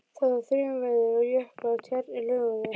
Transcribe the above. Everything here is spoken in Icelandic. Það var þrumuveður og jöklar og tjarnir loguðu.